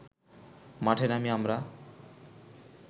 মাঠে নামি আমরা